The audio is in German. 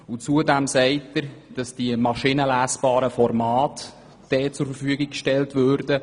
Zudem sagt er, dass dort die maschinenlesbaren Formate zur Verfügung gestellt würden.